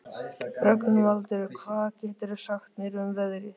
Rögnvaldur, hvað geturðu sagt mér um veðrið?